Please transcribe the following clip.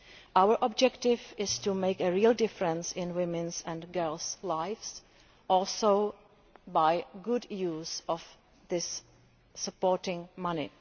Our objective is to make a real difference in women's and girls' lives, also by the good use of this supporting money.